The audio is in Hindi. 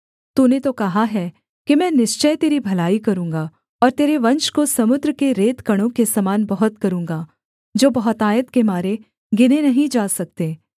तूने तो कहा है कि मैं निश्चय तेरी भलाई करूँगा और तेरे वंश को समुद्र के रेतकणों के समान बहुत करूँगा जो बहुतायत के मारे गिने नहीं जा सकते